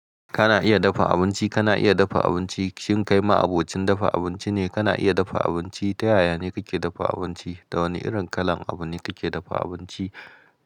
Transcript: Kana iya dafa abinci, kana iya dafa abinci. Shin kai ma abocin dafa abinci ne? Kana iya dafa abinci? Ta yaya ne kake dafa abinci? Da wane irin kalan abu ne kake dafa abinci?